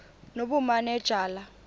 nobumanejala